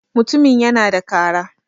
mutumin yana da Kara